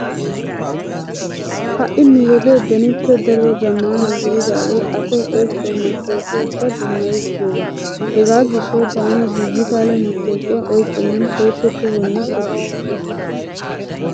Ha"i nu wode benippe daruwa zammaana gididaagee asay oyqqiyo mattooqiyakka dummayiis giyogaa. Hegaa gishshawu taani diijitaale mattoqiya oyqqennan sooppe tohonne shoddikke.